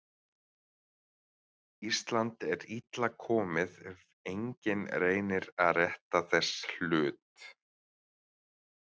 Ísland er illa komið ef enginn reynir að rétta þess hlut.